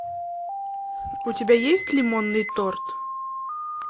у тебя есть лимонный торт